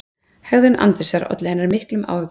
Hegðun Andrésar olli henni miklum áhyggjum: